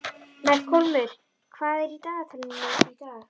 Melkólmur, hvað er í dagatalinu í dag?